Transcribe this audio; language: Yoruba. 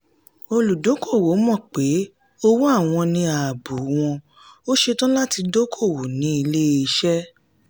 olùdókoòwò mọ̀ pé òwò àwọn ní ààbò wọ̀n ó ṣetán láti dókoòwò ní ilé-iṣẹ́.